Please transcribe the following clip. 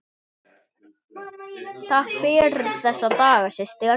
Takk fyrir þessa daga, systir.